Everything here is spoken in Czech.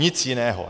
Nic jiného.